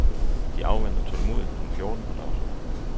De afventer tålmodigt punkt fjorten på dagsordenen.